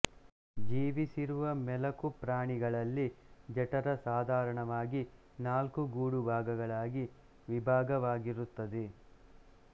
ಜೀವಿಸಿರುವ ಮೆಲಕುಪ್ರಾಣಿಗಳಲ್ಲಿ ಜಠರ ಸಾಧಾರಣವಾಗಿ ನಾಲ್ಕು ಗೂಡು ಭಾಗಗಳಾಗಿ ವಿಭಾಗವಾಗಿರುತ್ತದೆ